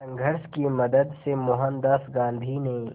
संघर्ष की मदद से मोहनदास गांधी ने